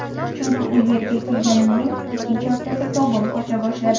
Chunki u yerga kelganimning ikkinchi haftasi tobim qocha boshladi.